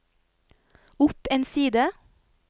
opp en side